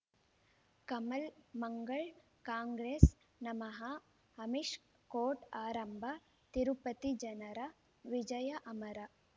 ಕಮಲ್ ಮಂಗಳ್ ಕಾಂಗ್ರೆಸ್ ನಮಃ ಅಮಿಷ್ ಕೋರ್ಟ್ ಆರಂಭ ತಿರುಪತಿ ಜನರ ವಿಜಯ ಅಮರ